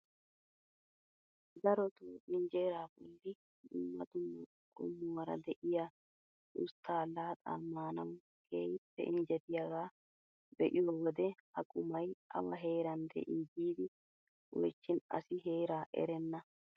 Darotoo injeeraa bolli dumma dumma qommuwaara de'iyaa usttaa laaxaa maanawu keehippe injjetiyaaga be'iyoo wode ha qumay awa heeran de'ii giidi oychchin asi heeraa erenna.